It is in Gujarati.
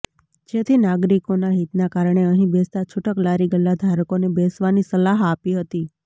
જેથી નાગરિકોના હિતના કારણે અહીં બેસતા છુટક લારી ગલ્લા ધારકોને બેસવાની સલાહ આપી હતી